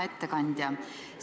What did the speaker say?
Hea ettekandja!